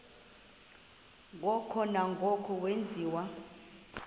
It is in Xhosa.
ngoko nangoko wenziwa